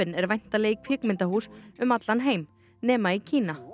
er væntanleg í kvikmyndahús um allan heim nema í Kína